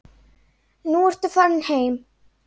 Nú ertu farinn heim.